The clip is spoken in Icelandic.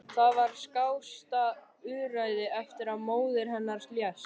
Það var skásta úrræðið eftir að móðir hennar lést.